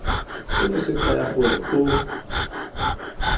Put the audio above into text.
seno se kaya gore o